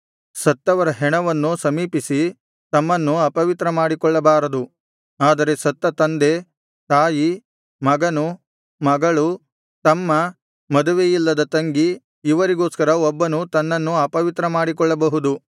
ಸತ್ತವರ ಹೆಣವನ್ನು ಸಮೀಪಿಸಿ ತಮ್ಮನ್ನು ಅಪವಿತ್ರ ಮಾಡಿಕೊಳ್ಳಬಾರದು ಆದರೆ ಸತ್ತ ತಂದೆ ತಾಯಿ ಮಗನು ಮಗಳು ತಮ್ಮ ಮದುವೆಯಿಲ್ಲದ ತಂಗಿ ಇವರಿಗೋಸ್ಕರ ಒಬ್ಬನು ತನ್ನನ್ನು ಅಪವಿತ್ರ ಮಾಡಿಕೊಳ್ಳಬಹುದು